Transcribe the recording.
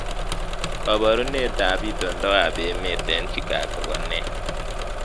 Kabarunetab itondoab emet eng Chicago ko nee